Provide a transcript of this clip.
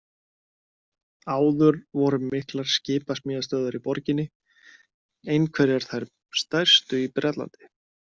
Áður voru miklar skipasmíðastöðvar í borginni, einhverjar þær stærstu í Bretlandi.